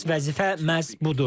Əsas vəzifə məhz budur.